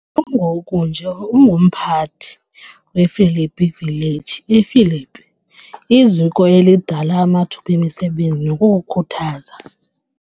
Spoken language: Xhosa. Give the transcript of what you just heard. Kungoku nje ungumphathi wePhilippi Village ePhilippi , iziko elidala amathuba emisebenzi nokukhuthaza.